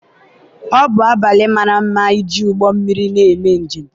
ọ bụ abalị mara mma iji ụgbọ mmiri na-eme njem